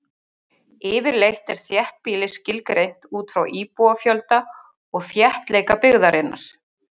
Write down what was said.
Yfirleitt er þéttbýli skilgreint út frá íbúafjölda og þéttleika byggðarinnar.